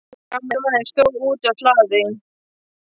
Gamli maðurinn stóð úti á hlaði.